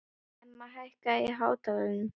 Emma, hækkaðu í hátalaranum.